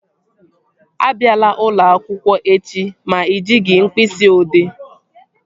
Abịala ụlọakwụkwọ echi ma ị jighị mkpịsị odee!